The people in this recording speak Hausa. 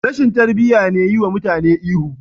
Rashin tarbiya ne yiwa mutane ihu..